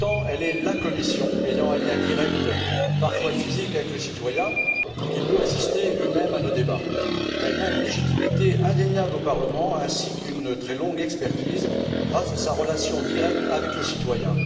Pourtant, cette commission a un lien direct, parfois physique, avec le citoyen, qui peut assister lui même à nos débats. Elle a une légitimité indéniable au Parlement ainsi qu'une très longue expertise grâce à sa relation directe avec le citoyen.